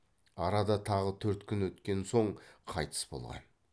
арада тағы төрт күн еткен соң қайтыс болған